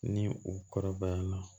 Ni u kɔrɔbaya la